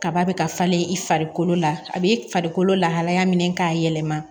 Kaba be ka falen i farikolo la a be farikolo lahalaya minɛ k'a yɛlɛma